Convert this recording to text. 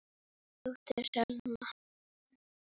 Þín dóttir, Salome.